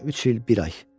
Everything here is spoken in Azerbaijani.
Deyəsən üç il bir ay.